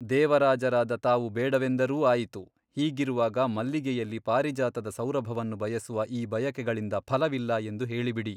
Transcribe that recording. ದೇವರಾಜರಾದ ತಾವು ಬೇಡವೆಂದರೂ ಆಯಿತು ಹೀಗಿರುವಾಗ ಮಲ್ಲಿಗೆಯಲ್ಲಿ ಪಾರಿಜಾತದ ಸೌರಭವನ್ನು ಬಯಸುವ ಈ ಬಯಕೆಗಳಿಂದ ಫಲವಿಲ್ಲ ಎಂದು ಹೇಳಿಬಿಡಿ.